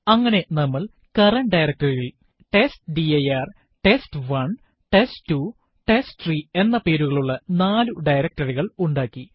അങ്ങനെ നമ്മൾ current directory യിൽ testdirtest1test2ടെസ്റ്റ്രീ എന്ന പേരുകളുള്ള നാലു directory കൾ ഉണ്ടാക്കി